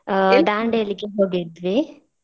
ಆ ದಾಂಡೇಲಿಗೆ ಹೋಗಿದ್ವಿ.